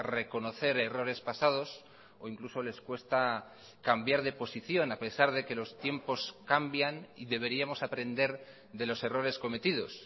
reconocer errores pasados o incluso les cuesta cambiar de posición a pesar de que los tiempos cambian y deberíamos aprender de los errores cometidos